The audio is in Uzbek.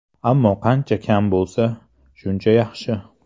Ammo qancha kam bo‘lsa, shuncha yaxshi.